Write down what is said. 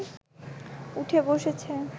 উঠে বসেছে